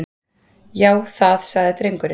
Já, það- sagði drengurinn.